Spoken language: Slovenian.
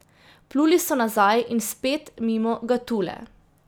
Pluli so nazaj in spet mimo Gatule.